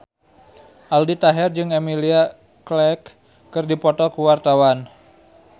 Aldi Taher jeung Emilia Clarke keur dipoto ku wartawan